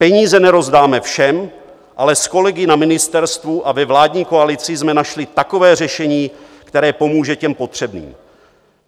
Peníze nerozdáme všem, ale s kolegy na ministerstvu a ve vládní koalici jsme našli takové řešení, které pomůže těm potřebným.